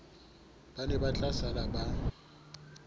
ba ne ba tlasala ba